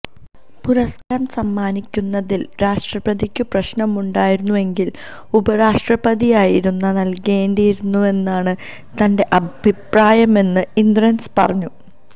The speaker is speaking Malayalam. പുരസ്കാരം സമ്മാനിക്കുന്നതില് രാഷ്ട്രപതിക്കു പ്രശ്നമുണ്ടായിരുന്നെങ്കില് ഉപരാഷ്ട്രപതിയായിരുന്നു നല്കേണ്ടിയിരുന്നുവെന്നാണ് തന്റെ അഭിപ്രായമെന്നും ഇന്ദ്രന്സ് പറഞ്ഞു